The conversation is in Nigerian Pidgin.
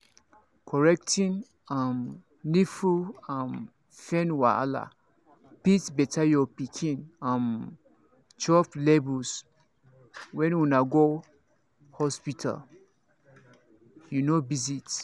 correcting um nipple um pain wahala fit better your pikin um chop levels when una go hospital you know visit